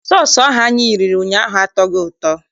Sọọsụ ahụ anyị riri ụnyaahụ atọghị ụtọ.